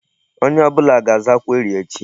Onye ọbụla ga-aza query echi.